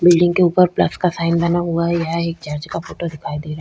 Building के ऊपर plus का साइन बनाया हुआ है। यह एक चर्च का फोटो दिखाई दे रहा है।